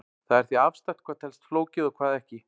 það er því afstætt hvað telst flókið og hvað ekki